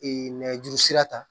nɛgɛjuru sira ta